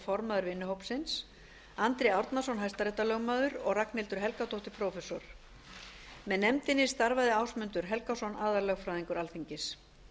formaður vinnuhópsins andri árnason hæstaréttarlögmaður og ragnhildur helgadóttir prófessor með nefndinni starfaði ásmundur helgason aðallögfræðingur alþingis